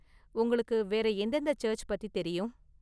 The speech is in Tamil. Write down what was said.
உங்களுக்கு வேற எந்தெந்த சர்ச்சு பத்தி தெரியும்?